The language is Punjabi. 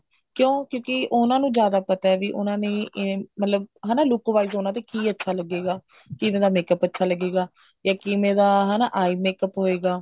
ਕਿਉਂ ਕਿਉਂਕਿ ਉਹਨਾ ਨੂੰ ਜਿਆਦਾ ਪਤਾ ਵੀ ਉਹਨਾ ਨੇ ਮਤਲਬ ਹਨਾ ਵੀ look wise ਉਹਨਾ ਦੇ ਕਿ ਅੱਛਾ ਲਗੇਗਾ ਕਿਵੇਂ ਦਾ makeup ਅੱਛਾ ਲਗੇਗਾ ਜਾ ਕਿਵੇਂ ਦਾ ਹਨਾ eye makeup ਹੋਵੇਗਾ